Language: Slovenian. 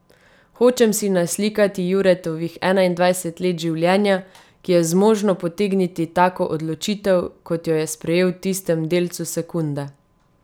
Hočem si naslikati Juretovih enaindvajset let življenja, ki je zmožno potegniti tako odločitev, kot jo je sprejel v tistem delcu sekunde.